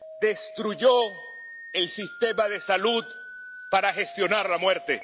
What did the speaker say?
Destruyó el sistema de salud para gestionar la muerte.